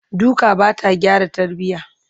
duka Bata gyara tarbiya